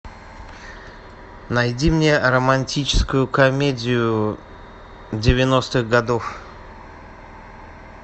найди мне романтическую комедию девяностых годов